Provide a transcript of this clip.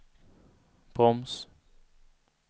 broms